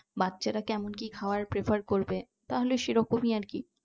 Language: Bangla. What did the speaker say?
বাচ্চারা কেমন কি খাবার prefer করবে তাহলে সেরকমই আর কি